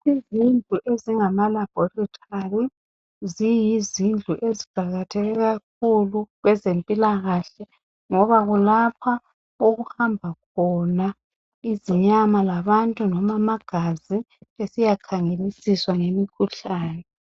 Izindlu ezingamalaboritory ziyizindlu eziqakatheke kakhulu kwezempulakahle ngoba kulapha okuhamba khona izinyama labantu noma amagazi besiyakhangelisiswa ngemikhuhlane.